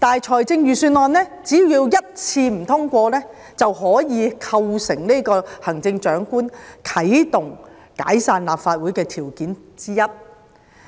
可是，預算案只要一次不獲通過，便可以構成行政長官啟動解散立法會的條件之一。